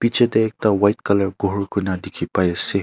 Che tey ekta white colour ghor koina dekhi pai ase.